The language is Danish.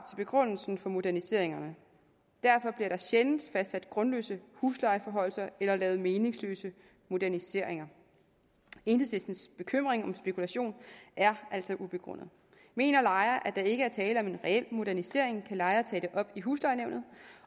begrundelsen for moderniseringer derfor bliver der sjældent fastsat grundløse huslejeforhøjelser eller lavet meningsløse moderniseringer enhedslistens bekymring om spekulation er altså ubegrundet mener lejer at der ikke er tale om en reel modernisering kan lejer tage det op i huslejenævnet